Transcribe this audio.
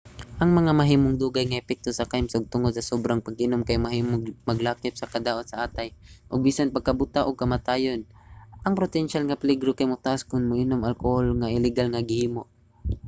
ang mga mahimong dugay nga epekto sa kahimsog tungod sa sobrang pag-inom kay mahimong maglakip sa kadaot sa atay ug bisan pagkabuta ug kamatayon. ang potensyal nga peligro kay motaas kon moinom og alkohol nga iligal nga gihimo